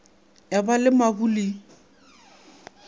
ya ba le mabu le